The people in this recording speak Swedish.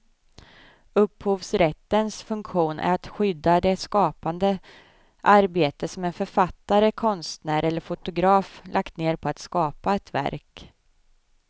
Upphovsrättens funktion är att skydda det skapande arbete som en författare, konstnär eller fotograf lagt ned på att skapa ett verk.